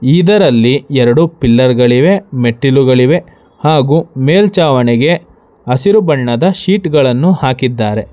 ಇದರಲ್ಲಿ ಎರಡು ಪಿಲ್ಲರ್ ಗಳಿವೆ ಮೆಟ್ಟಿಲುಗಳಿವೆ ಹಾಗೂ ಮೇಲ್ಚಾವಣಿಗೆ ಹಸಿರು ಬಣ್ಣದ ಶೀಟ್ ಗಳನ್ನು ಹಾಕಿದ್ದಾರೆ ಗಳನ್ನು ಹಾಕಿದ್ದಾರೆ.